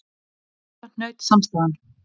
Um þetta hnaut samstaðan.